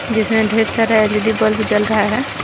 जिसमें ढेर सारा एल_ई_डी बल्ब जल रहा है।